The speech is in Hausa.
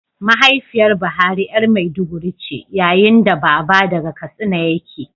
Mahaifiyar Buhari ’yar maiduguri ce, yayin da baba daga Katsina yake